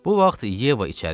Bu vaxt Yeva içəri girdi.